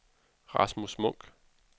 Rasmus Munch